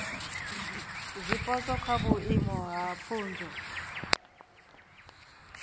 zwipotso kha vhuimo ha pfunzo